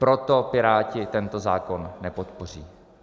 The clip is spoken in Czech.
Proto Piráti tento zákon nepodpoří.